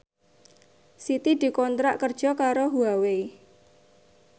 Siti dikontrak kerja karo Huawei